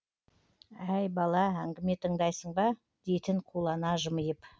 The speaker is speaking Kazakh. әй бала әңгіме тыңдайсың ба дейтін қулана жымиып